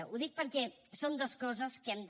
ho dic perquè són dues coses que hem de